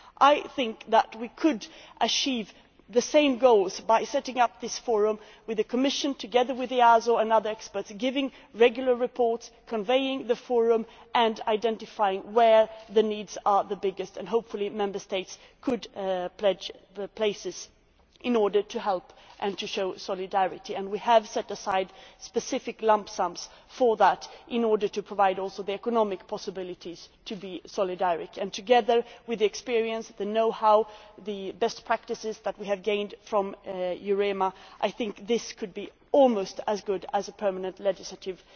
I think we could achieve the same goals by setting up this forum with the Commission, together with EASO and other experts, giving regular reports, convening the forum and identifying where the needs are the biggest, and hopefully Member States could pledge the places in order to help and show solidarity. We have set aside specific lump sums for that in order to provide also the economic possibilities for solidarity, and together with the experience, the know how and the best practices which we have gained from EUREMA, I think this could be almost as good as a permanent legislative